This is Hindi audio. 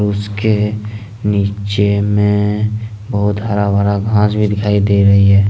उसके नीचे में बहुत हरा भरा घास भी दिखाई दे रही है।